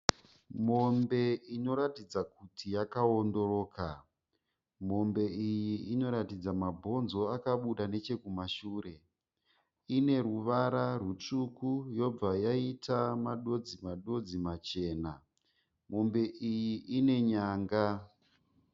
Mombe inoratidza kuti yakawondoroka. Mombe iyi inoratidza mabonzo akabuda nechekumashure. Ine ruvara rutsvuku yobva yaita madonzi-madonzi machena. Mombe iyi ine nyanga.